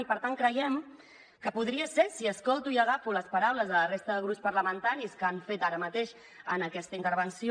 i per tant creiem que podria ser si escolto i agafo les paraules de la resta de grups parlamentaris que han fet ara mateix en aquesta intervenció